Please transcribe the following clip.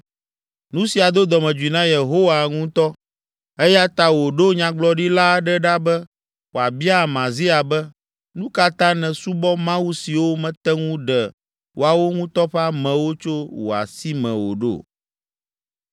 Nu sia do dɔmedzoe na Yehowa ŋutɔ, eya ta wòɖo nyagblɔɖila aɖe ɖa be wòabia Amazia be, “Nu ka ta nèsubɔ mawu siwo mete ŋu ɖe woawo ŋutɔ ƒe amewo tso wò asi me o ɖo?”